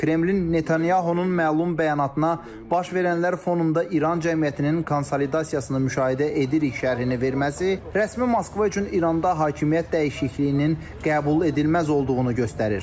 Kremlin Netanyahunun məlum bəyanatına "Baş verənlər fonunda İran cəmiyyətinin konsolidasiyasını müşahidə edirik" şərhini verməsi rəsmi Moskva üçün İranda hakimiyyət dəyişikliyinin qəbul edilməz olduğunu göstərir.